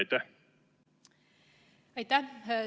Aitäh!